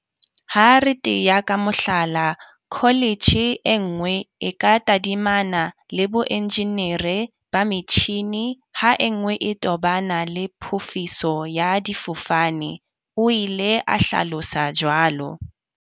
Ha re tea ka mohlala, kholetjhe e nngwe e ka tadimana le boenjenere ba metjhini, ha e nngwe e tobana le phofiso ya difofane, o ile a hlalosa jwalo.